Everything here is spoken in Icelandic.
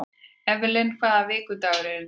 Evelyn, hvaða vikudagur er í dag?